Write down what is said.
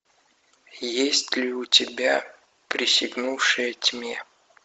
есть ли у тебя присягнувшая тьме